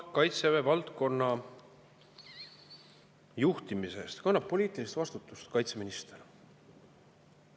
Kaitsevaldkonna juhtimise eest kannab poliitilist vastutust kaitseminister.